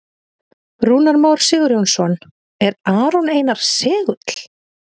Rúnar Már Sigurjónsson: Er Aron Einar segull?